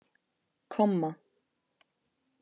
komma